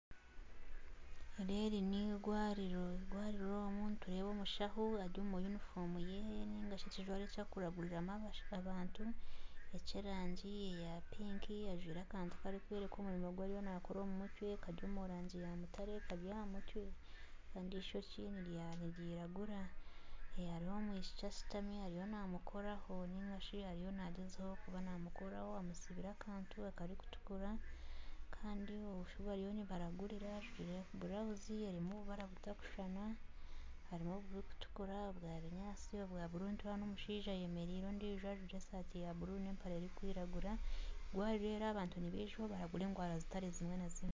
Eri eri n'eirwariro eirwariro omu nitureeba omushaho ari omu yunifoomu ye nainga shi ekijwaro eki arikuragurairamu abantu eky'erangi eya pinki. Ajwaire akantu karikworeka omurimo ogu ariyo naakora omu mutwe kari omu rangi ya mutare kari aha mutwe kandi eishokye niriragura. Hariyo omwishiki ashutami ariyo naamukoraho nainga shi ariyo naagyezaho kuba namukoraho. Amutsibire akantu akarikutukura. Kandi omwishiki ou bariyo nibaragurira ajwaire burawuzi erimu obubara butakushushana hariho oburikutukura obwa binyaatsi obwa bururu. Nitureeba n'omushaija ayemereire ondiijo ajwaire esaati ya bururu n'empare erikwiragura. Wabibeera abantu nibaija obaragurira endwara zitari zimwe na zimwe.